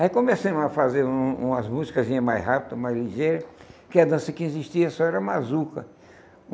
Aí começamos a fazer um umas músicasinhas mais rápidas, mais ligeiras, porque a dança que existia só era mazuca.